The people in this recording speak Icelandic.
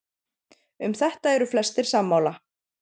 um þetta eru flestir sammála